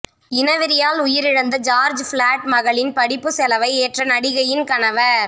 இனவெறியால் உயிரிழந்த George Floyd மகளின் படிப்புச் செலவை ஏற்ற நடிகையின் கணவர்